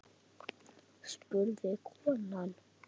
spurði konan.